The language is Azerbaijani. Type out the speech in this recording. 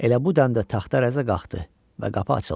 Elə bu dəmdə taxta rəzə qalxdı və qapı açıldı.